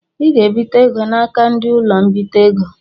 I ga ebite égo n'aka ndị ụlọ-mbite ego.